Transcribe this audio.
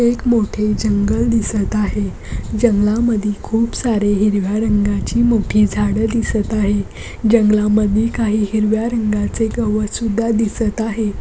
एक मोठे जंगल दिसत आहे जंगलामध्ये खूप सारे हिरव्या रंगाची मोठी झाड दिसत आहे जंगलामध्ये काही हिरव्या रंगाचे गवत सुधा दिसत आहे.